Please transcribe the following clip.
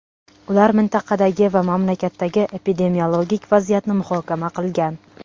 Ular mintaqadagi va mamlakatdagi epidemiologik vaziyatni muhokama qilgan.